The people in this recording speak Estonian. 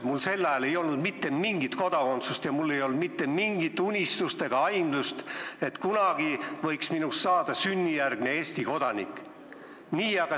Mul ei olnud sel ajal mitte mingit kodakondsust ja mul ei olnud ka mitte mingit unistust ega aimdust, et kunagi võiks minust saada sünnijärgne Eesti kodanik.